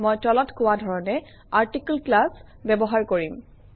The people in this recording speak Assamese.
মই তলত কোৱা ধৰণে আৰ্টিকল ক্লাছ ব্যৱহাৰ কৰিম